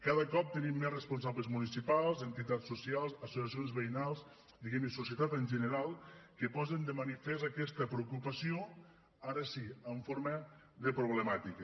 cada cop tenim més responsables municipals entitats socials associacions veïnals diguem ne societat en general que posen de manifest aquesta preocupació ara sí en forma de problemàtica